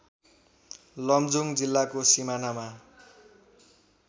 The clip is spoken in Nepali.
लमजुङ जिल्लाको सिमानामा